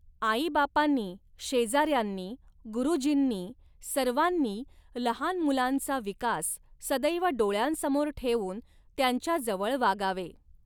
आईबापांनी, शेजा यांनी, गुरूजींनी सर्वांनी लहान मुलांचा विकास सदैव डोळयांसमोर ठेवून त्यांच्याजवळ वागावे.